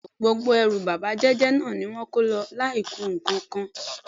Bé̩è̩ni ooo, gbogbo e̩rù bábà jé̩jé̩ náà ni wó̩n kó lo̩ láìku nǹkankan.